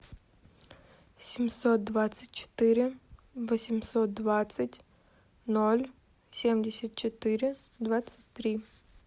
семьсот двадцать четыре восемьсот двадцать ноль семьдесят четыре двадцать три